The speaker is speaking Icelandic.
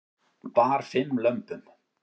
Bar fimm lömbum